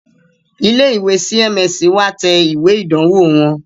Ilé ìwé CMS wá tẹ ìwé ìdánwò wọn